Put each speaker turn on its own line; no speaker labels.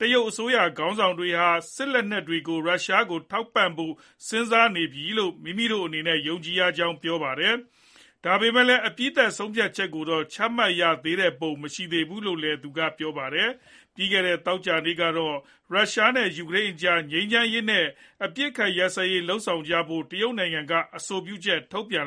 တရုတ်အစိုးရခေါင်းဆောင်တွေဟာ စစ်လက်နက်တွေကို ရုရှားကို ထောက်ပံ့ဖို့ စဉ်းစားနေပြီလို့ မိမိတို့အနေနဲ့ယုံကြည်ရကြောင်း ပြောပါတယ်။ ဒါပေမယ့်လည်း အပြီးသတ်ဆုံးဖြတ်ချက်ကိုတော့ ချမှတ်ရသေးတဲ့ပုံ မရှိသေးဘူးလို့လည်း သူကပြောပါတယ်။ ပြီးခဲ့တဲ့ သောကြာနေ့ကတော့ ရုရှားနဲ့ယူကရိန်းအကြား ငြိမ်းချမ်းရေးနဲ့ အပစ်အခတ်ရပ်စဲရေးလုပ်ဆောင်ကြဖို့ တရုတ်နိုင်ငံက အဆိုပြုချက်ထုတ်ပြန်